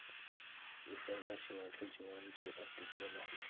निसर्गाशिवाय सजीवांचे अस्तित्व नाही.